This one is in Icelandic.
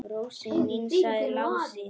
Rósin mín, sagði Lási.